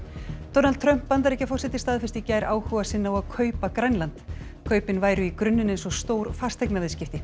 Donald Trump Bandaríkjaforseti staðfesti í gær áhuga sinn á að kaupa Grænland kaupin væru í grunninn eins og stór fasteignaviðskipti